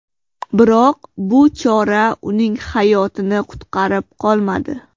Biroq bu chora uning hayotini qutqarib qolmadi.